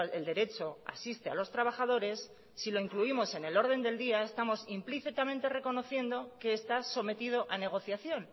el derecho asiste a los trabajadores si lo incluimos en el orden del día estamos implícitamente reconociendo que está sometido a negociación